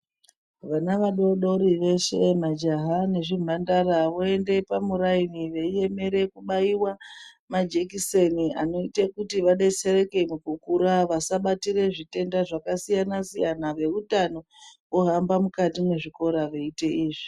Vana vadodori veshe majaha nezvimhandara voende pamuraini veyiemera kubaiwa majekiseni anoyita kuti vadetsereke mukukura vasabatira zvitenda zvakasiyana siyana veutano vohamba mukati mwezvikora veyiita izvi.